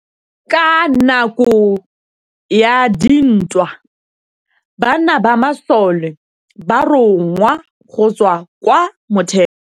Ka nakô ya dintwa banna ba masole ba rongwa go tswa kwa mothêô.